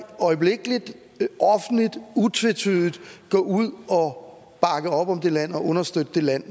øjeblikkeligt offentligt utvetydigt gå ud og bakke op om det land og understøtte det land